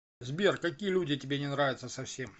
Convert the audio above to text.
сбер какие люди тебе не нравятся совсем